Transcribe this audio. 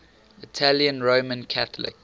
italian roman catholic